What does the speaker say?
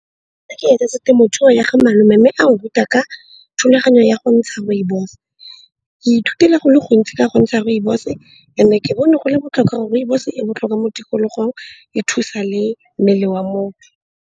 Ke etetse temothuo ya ga malome mme ao ruta ka thulaganyo ya go ntsha rooibos. Ke ithutile go le gontsi ka go ntsha rooibos. And-e ke bone go le botlhokwa gore rooibos e botlhokwa mo tikologong, e thusa le mmele wa motho.